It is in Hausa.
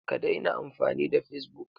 Ka daina amfani da facebook!